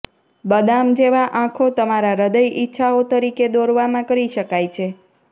બદામ જેવા આંખો તમારા હૃદય ઇચ્છાઓ તરીકે દોરવામાં કરી શકાય છે